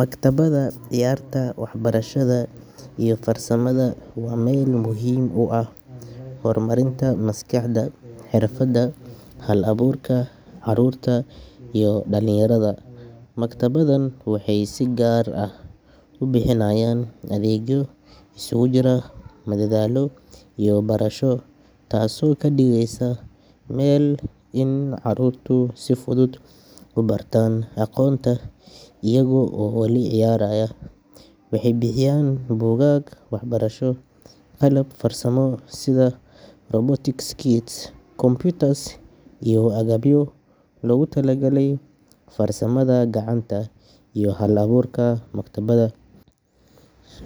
Maktabadaha ciyaarta, waxbarashada iyo farsamada waa meel muhiim u ah horumarinta maskaxda, xirfadda iyo hal-abuurka carruurta iyo dhallinyarada. Maktabaddahan waxay si gaar ah u bixinayaan adeegyo isugu jira madadaalo iyo barasho, taasoo ka dhigaysa in carruurtu si fudud u bartaan aqoonta iyaga oo weli ciyaaraya. Waxay bixiyaan buugaag waxbarasho, qalab farsamo sida robotics kits, computers, iyo agabyo loogu talagalay farsamada gacanta iyo hal-abuurka. Maktabadaha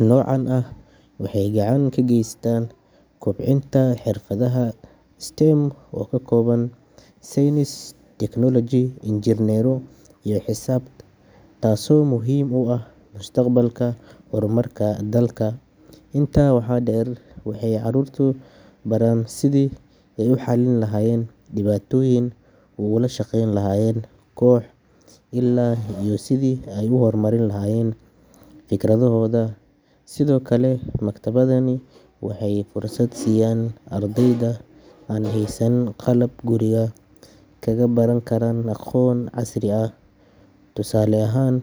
noocan ah waxay gacan ka geystaan kobcinta xirfadaha STEM oo ka kooban saynis, tignoolaji, injineernimo iyo xisaab, taasoo muhiim u ah mustaqbalka horumarka dalka. Intaa waxaa dheer, waxay carruurta baraan sidii ay u xallin lahaayeen dhibaatooyin, ula shaqayn lahaayeen koox, iyo sidii ay u horumarin lahaayeen fikradahooda. Sidoo kale, maktabadahani waxay fursad siiyaan ardayda aan haysan qalab guriga kaga baran karaan aqoon casri ah. Tusaale ahaan.